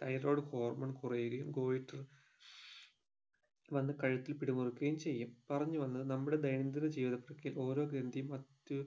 thyroid hormone കുറയുകയും goiter വന്ന്‌ കഴുത്തിൽ പിടിമുറുക്കുകയും ചെയ്യും പറഞ്ഞു വന്നത് നമ്മുടെ ദൈന്യം ദിന ജീവിതത്തിൽക്ക് ഓരോ ഗ്രാന്ധിയും അത്യു